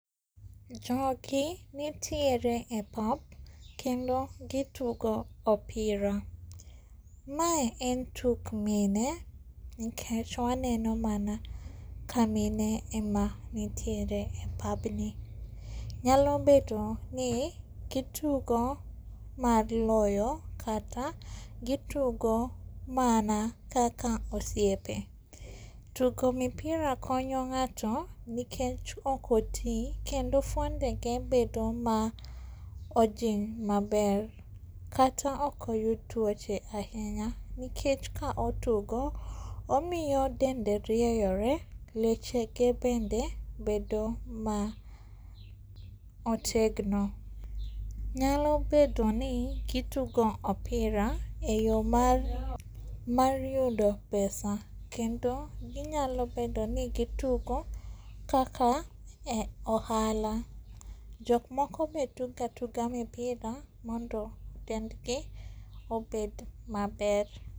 Jogi nitiere e pap kendo gitugo opira. Mae en tuk mine nikech waneno mana kamine ema nitiere e papni. Nyalo bedoni gitugo mar loyo kata gitugo mana kaka osiepe. Tugo mipira konyo ng'ato nikech okoti kendo fuondege bedo maojiny maber, kata okoyud tuoche ahinya nikech ka otugo momiyo dende rieyore, lechege bende bedo maotegno. Nyalo bedoni gitugo opira e yor mar yudo pesa kendo ginyalo bedoni gitugo kaka ohala. Jokmoko be tuga atuga mipira mondo dendgi obed maber.